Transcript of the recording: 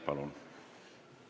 Palun!